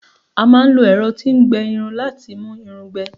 a ma n lo ẹrọ ti n gbẹ Irun lati mu Irun gbẹ